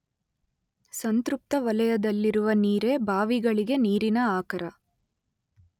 ಸಂತೃಪ್ತ ವಲಯದಲ್ಲಿರುವ ನೀರೇ ಬಾವಿಗಳಿಗೆ ನೀರಿನ ಆಕರ.